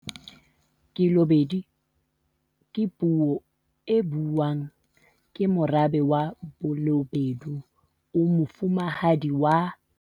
Khelobedu ke puo e buuwang ke morabe wa Ba lobedu o Mofumahadi wa